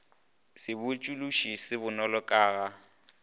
sebotšološi se bonolo ka ga